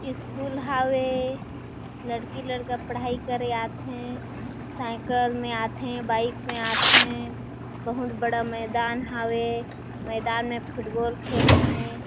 School हावे लड़की लड़का पढ़ाई करे आथे साईकल में आथे बाइक में आथे बहुत बड़ा मैदान हावे मैदान में फुटबॉल खेलथे।